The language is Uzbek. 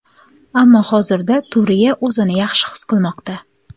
Ammo hozirda Turiya o‘zini yaxshi his qilmoqda.